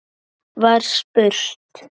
var spurt.